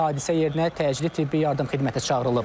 Hadisə yerinə təcili tibbi yardım xidməti çağırılıb.